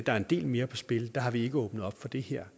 er en del mere på spil har vi ikke åbnet for det her